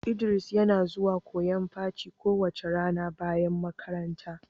Idris yana zuwan koyon paci kowace rana bayan makaranta.